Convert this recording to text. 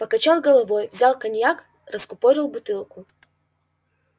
покачал головой взял коньяк раскупорил бутылку